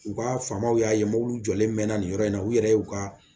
U ka faamaw y'a ye m'olu jɔlen mɛnna nin yɔrɔ in na u yɛrɛ y'u ka